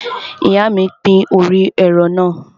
Ìyá mi pín orí ẹran náà.